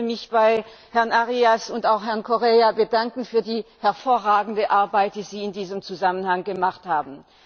Ich möchte mich bei Herrn Arias und auch Herrn Correia bedanken für die hervorragende Arbeit, die sie in diesem Zusammenhang geleistet haben.